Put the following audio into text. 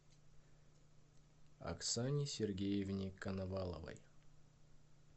оксане сергеевне коноваловой